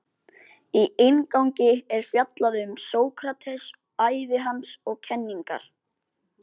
Í inngangi er fjallað um Sókrates, ævi hans og kenningar.